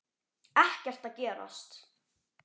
Ekkert að gerast.